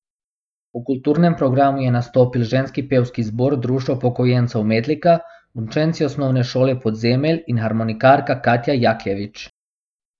V kulturnem programu je nastopil ženski pevski zbor Društva upokojencev Metlika, učenci Osnovne šole Podzemelj in harmonikarka Katja Jakljevič.